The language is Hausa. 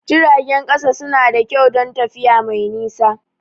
Jiragen ƙasa suna da kyau don tafiya mai nisa.